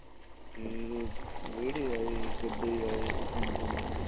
ਫ਼ੇਰ ਰੇੜੇ ਆਏ ਗੱਡੇ ਆਏ ਜੋ ਸੁਣਦੇ ਹਾਂ